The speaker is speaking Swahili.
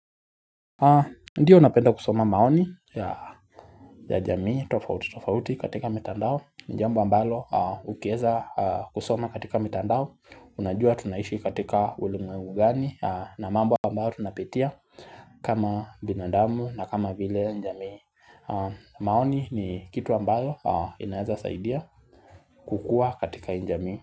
Ndiyo unapenda kusoma maoni ya yajamii tofauti tofauti katika mitandao ni jambo ambalo ukieza kusoma katika mitandao Unajua tunaishi katika ulimwengu gani na mambo ambaro tunapatia kama binadamu na kama vile njamii maoni ni kitu ambalo inaeza saidia kukua katika hii njamii.